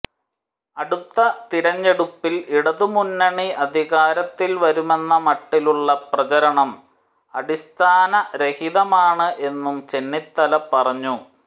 അടുത്ത തിരഞ്ഞെടുപ്പിൽ ഇടതുമുന്നണി അധികാരത്തിൽ വരുമെന്ന മട്ടിലുളള പ്രചരണം അടിസ്ഥാനരഹിതമാണ് എന്നും ചെന്നിത്തല പറഞ്ഞു